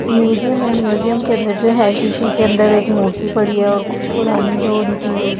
museum है museum के अंदर जो है शीशे के अंदर एक मूर्ति पड़ी है और कुछ पुरानी जो उनकी--